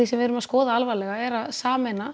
sem við erum að skoða er að sameina